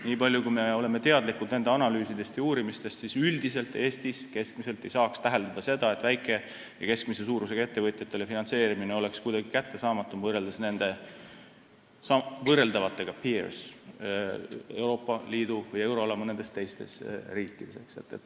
Nii palju kui me oleme teadlikud nende analüüsidest ja uurimistest, siis üldiselt Eestis keskmiselt ei saa täheldada seda, et väike- või keskmise suurusega ettevõtjatele finantseerimine oleks kuidagi kättesaamatum võrreldes mõne teise Euroopa Liidu või euroala riigiga.